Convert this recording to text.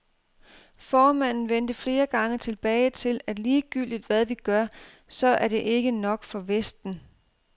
Formanden vendte flere gange tilbage til, at ligegyldigt hvad vi gør, så er det ikke nok for vesten.